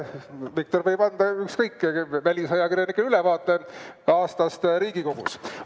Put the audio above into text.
Viktor võib anda ükskõik kellele, ka välisajakirjanikele ülevaate aastast Riigikogus.